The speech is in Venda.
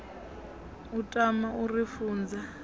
a tama u ri funza